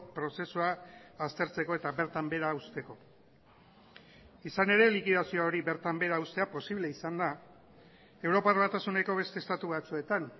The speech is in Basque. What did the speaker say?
prozesua aztertzeko eta bertan behera usteko izan ere likidazio hori bertan behera ustea posible izan da europar batasuneko beste estatu batzuetan